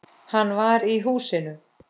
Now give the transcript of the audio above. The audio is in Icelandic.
Hann var í húsinu.